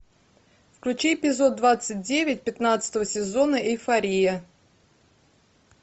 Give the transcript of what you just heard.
включи эпизод двадцать девять пятнадцатого сезона эйфория